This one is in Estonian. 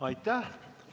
Aitäh!